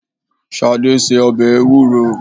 Ṣadé se ọbẹ̀ Ewúro.